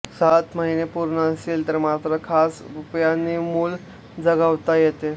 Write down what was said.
सात महिने पूर्ण असतील तर मात्र खास उपायांनी मूल जगवता येते